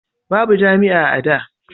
babu jami'a a da